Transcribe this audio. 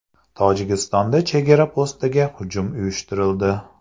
Tojikistonda chegara postiga hujum uyushtirildi.